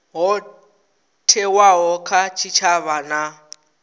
ho thewaho kha tshitshavha na